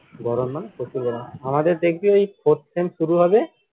গরম মানে প্রচুর গরম আমাদের দেখবি ওই fourth শুরু হবে